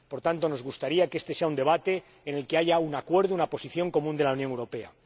Por tanto, nos gustaría que este sea un debate en el que haya un acuerdo, una posición común de la Unión Europea.